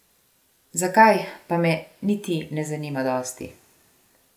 Zakaj, pa me niti ne zanima dosti.